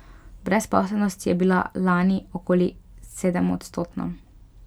Brezposelnost je bila lani okoli sedemodstotna.